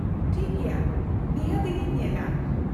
-ᱴᱷᱤᱠ ᱜᱮᱭᱟ, ᱱᱤᱦᱟᱹᱛ, ᱤᱧᱤᱧ ᱧᱮᱞᱟ ᱾